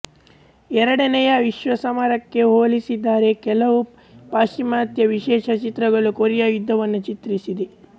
ಎರಡನೇಯ ವಿಶ್ವ ಸಮರಕ್ಕೆ ಹೋಲಿಸಿದರೆಕೆಲವು ಪಾಶ್ಚಿಮಾತ್ಯ ವಿಶೇಷ ಚಿತ್ರಗಳು ಕೊರಿಯಾ ಯುದ್ಧವನ್ನು ಚಿತ್ರಿಸಿವೆ